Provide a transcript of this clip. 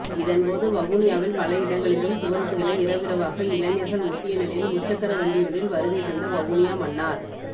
இதன்போது வவுனியாவில் பல இடங்களிலும் சுவரொட்டிகளை இரவிரவாக இளைஞர்கள் ஒட்டிய நிலையில் முச்சக்கரவண்டியொன்றில் வருகைதந்த வவுனியா மன்னார்